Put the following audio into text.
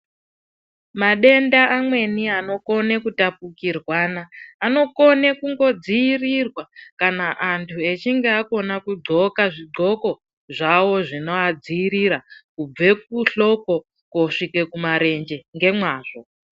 Madenda amweni anokone kutapukirwana anokone kungodziirirwa kana anthu echinge akone kudhqoka zvidhqoko zvawo zvinoadziirira kubve kuhloko koosvike kumarenje ngemwazvo.